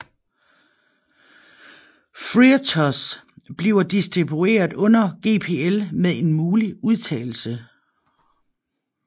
FreeRTOS bliver distributeret under GPL med en mulig undtagelse